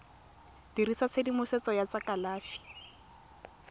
dirisa tshedimosetso ya tsa kalafi